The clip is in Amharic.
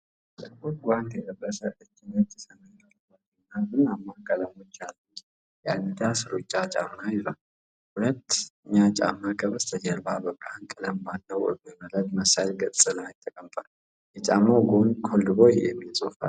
ጥቁር ጓንት የለበሰ እጅ ነጭ፣ ሰማያዊ አረንጓዴ እና ቡናማ ቀለሞች ያሉት የአዲዳስ ሩጫ ጫማ ይዟል። ሁለተኛ ጫማ ከበስተጀርባ በብርሃን ቀለም ባለው እብነበረድ መሰል ገጽ ላይ ተቀምጧል። የጫማው ጎን "ኮልድ ቦይ " የሚል ጽሑፍ አለው።